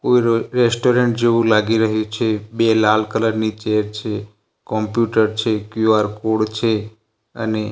કોઈ ર રેસ્ટોરન્ટ જેવું લાગી રહ્યું છે બે લાલ કલર ની ચેર છે કોમ્પ્યુટર છે ક્યુ_આર કોડ છે અને--